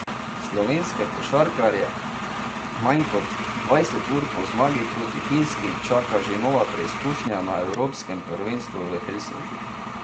Slovenske košarkarje manj kot dvajset ur po zmagi proti Finski čaka že nova preizkušnja na evropskem prvenstvu v Helsinkih.